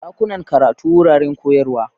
Dakunan karatu: Wuraren koyarwa.